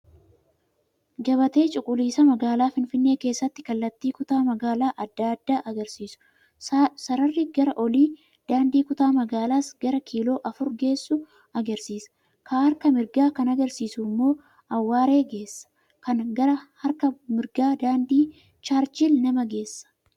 Gabatee cuquliisaa magaalaa Finfinnee keessatti kallattii kutaa magaalaa adda addaa agarsiisu .sararri gara olii daandii kutaa magaalas gara kiiloo afur geessu agarsiisa. Kaa harka mirgaa kan agarsiisu immoo Awwaaree geessa. Kan gara harka murgaa daadii Charchil nama geessa.